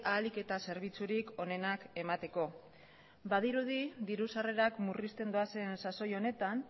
ahalik eta zerbitzurik onenak emateko badirudi diru sarrerak murrizten doazen sasoi honetan